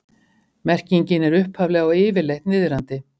Merkingin er upphaflega og yfirleitt niðrandi.